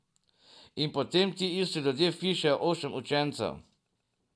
In potem ti isti ljudje vpišejo osem učencev.